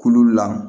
Kulu la